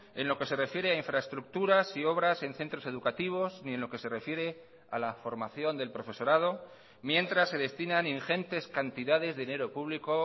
en lo que se refiere a infraestructuras y obras en centros educativos ni en lo que se refiere a la formación del profesorado mientras se destinan ingentes cantidades de dinero público